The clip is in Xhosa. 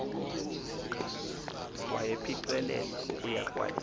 wayepiqelela ukuya kwilali